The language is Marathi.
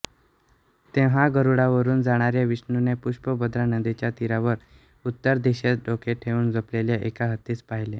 तेव्हा गरुडावरून जाणाऱ्या विष्णूने पुष्पभद्रा नदीच्या तीरावर उत्तरदिशेस डोके ठेवून झोपलेल्या एका हत्तीस पाहिले